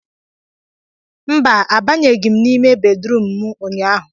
mba, Abanyeghị m n'ime bedrum a ụnyaahụ